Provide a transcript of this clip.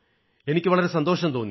എനിക്ക് വളരെ സന്തോഷം തോന്നി